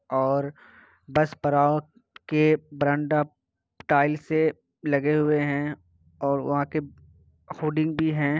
और बस पड़ाव के बरंडा टाइल्स से लगे हुए हैं और वहाँ के होर्डिंग भी हैं।